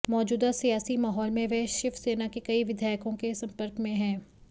मौजूदा सियासी माहौल में वह शिवसेना के कई विधायकों के संपर्क में हैं